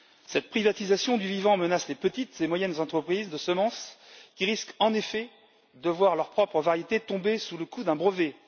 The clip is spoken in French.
Cette privatisation du vivant menace les petites et moyennes entreprises de semences, qui risquent, en effet, de voir leurs propres variétés tomber sous le coup d'un brevet.